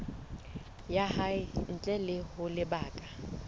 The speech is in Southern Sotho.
ya hae ntle ho lebaka